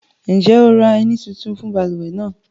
Njẹ́ o ra ẹ̀ní tuntun fun baluwe nàà?